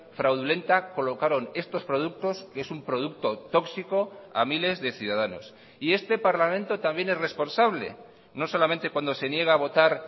fraudulenta colocaron estos productos que es un producto tóxico a miles de ciudadanos y este parlamento también es responsable no solamente cuando se niega a votar